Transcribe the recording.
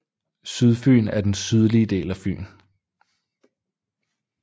Sydfyn er den sydlige del af Fyn